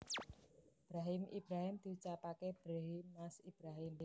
Brahim Ibrahim diucapake Brehiim Mas Ibrahim